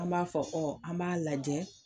An b'a fɔ an b'a lajɛ